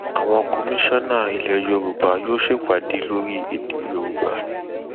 àwọn commisioner ilẹ yorùbá yóò ṣèpàdé lórí èdè yorùbá